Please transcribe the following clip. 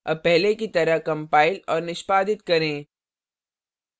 अब पहले की तरह compile और निष्पादित करें